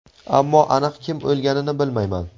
ammo aniq kim o‘lganini bilmayman.